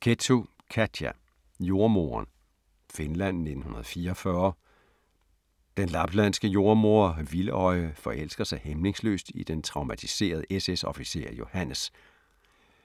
Kettu, Katja: Jordemoderen Finland 1944. Den laplandske jordemoder Vildøje forelsker sig hæmningsløst i den traumatiserede SS-officer Johannes,